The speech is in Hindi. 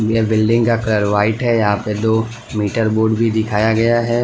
यह बिल्डिंग का कलर व्हाइट है यहां पर दो मीटर बोर्ड भी दिखाया गया है।